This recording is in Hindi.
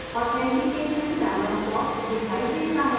authentication dialog box दिखाई देता है